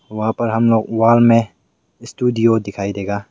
वहां पर हम लोग वॉल में स्टूडियो दिखाई देगा।